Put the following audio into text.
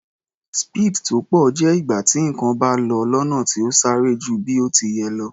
Speed tó pọ̀ jẹ́ ìgbà tí nǹkan bá lọ lọ́nà tó sáré ju bí ó ti yẹ lọ.